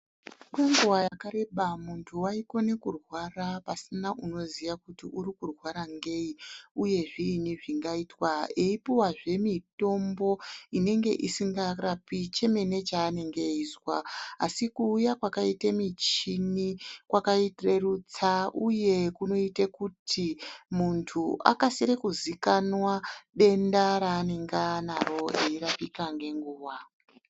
Kwenguva yakareba muntu waikone kurwara pasina unoziya kuti uri kurwara ngei, uye zviini zvingaitwa, eyipuwazve mitombo inenge isingarapi chemene chaanenge eyizwa, Asi kuuya kwakaite michini kwakarerutsa uye kunoita kuti muntu akasire kuzikanwa denda raanenge anaro eyirapika ngenguva.